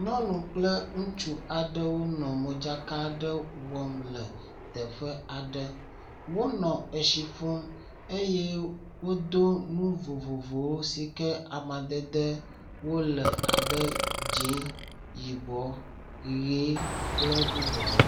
nyɔnu kple ŋutsu aɖe nɔ modzaka wɔm le teƒe aɖe wónɔ esi ƒum eye wodó nu vovovowo sike amadede wóle abe dzĩ yibɔ yi kple bubuawo